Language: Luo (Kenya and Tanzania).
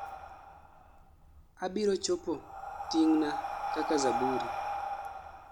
abiro chopo tig'na kaka zaburi